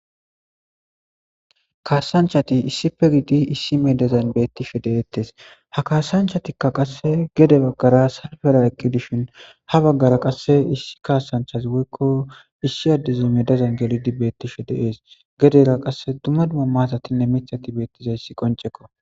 kasanchchati issippe giddidi issi medazan beettishshe de'etees ha kasanchchattikka qasse gede baggara salfera eqqi dishshin ha baggara qasse issi kasanchchas woykko issi addezi medazan gellidi beettishshe de'ees gedera qasse dumma dumma matatinne miththatti beettizayssi qoncekko